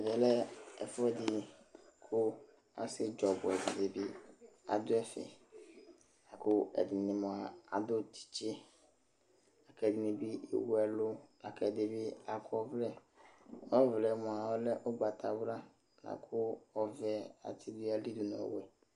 Ɛmɛ lɛ ɛfʋɛdɩ kʋ ,asɩetsu ɔbʋɛ dɩnɩ bɩ adʋ ɛfɛKʋ ɛdɩnɩ mʋa, adʋ tsɩtsɩ,kʋ ɛdɩ bɩ ewu ɛlʋ la kʋ ɛdɩ bɩ akɔ ɔvlɛ; ɔvlɛ mʋa, ɔlɛ ʋgbatawla akʋ ɔvɛ atsɩ dʋ n' ayili nʋ ɔwɛ